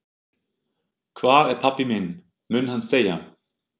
Hvar er pabbi minn? mun hann segja.